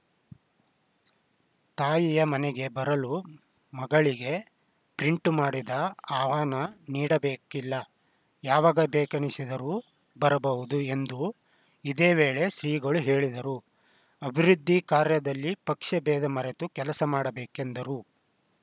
ತಾಯಿಯ ಮನೆಗೆ ಬರಲು ಮಗಳಿಗೆ ಪ್ರಿಂಟು ಮಾಡಿದ ಆಹ್ವಾನ ನೀಡಬೇಕಿಲ್ಲ ಯಾವಾಗ ಬೇಕೆನಿಸಿದರೂ ಬರಬಹುದು ಎಂದು ಇದೇ ವೇಳೆ ಶ್ರೀಗಳು ಹೇಳಿದರು ಅಭಿವೃದ್ಧಿ ಕಾರ್ಯದಲಿ ಪಕ್ಷಬೇಧ ಮರೆತು ಕೆಲಸ ಮಾಡಬೇಕೆಂದರು